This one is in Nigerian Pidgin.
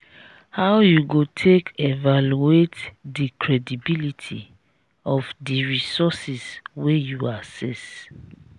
how you go take evaluate di credibility of di resources wey you access?